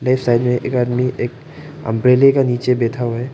एक साइड में एक आदमी एक अंब्रेले के नीचे बैठा हुआ है।